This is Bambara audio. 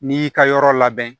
N'i y'i ka yɔrɔ labɛn